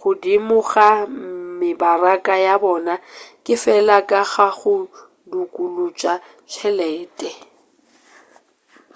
godimo ga mebaraka ya bona ke fela ka ga go dukuluša tšhelete